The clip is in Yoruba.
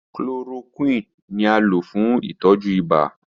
Chloroquine ni a lo fun itọju ibà.